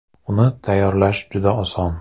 Uni tayyorlash juda oson.